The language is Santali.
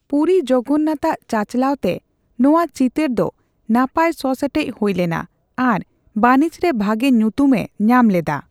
ᱯᱩᱨᱤ ᱡᱚᱜᱚᱱᱱᱟᱛᱷ ᱟᱜ ᱪᱟᱪᱟᱣᱞᱟ ᱛᱮ ᱱᱳᱣᱟ ᱪᱤᱛᱟᱹᱨ ᱫᱚ ᱱᱟᱯᱟᱭ ᱥᱚᱼᱥᱮᱴᱮᱡ ᱦᱳᱭ ᱞᱮᱱᱟ ᱟᱨ ᱵᱟᱹᱱᱤᱡ ᱨᱮ ᱵᱷᱟᱜᱮ ᱧᱩᱛᱩᱢ ᱮ ᱧᱟᱢ ᱞᱮᱫᱟ ᱾